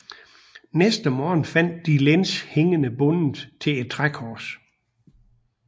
Næste morgen fandt de Lenz hængende bundet til et trækors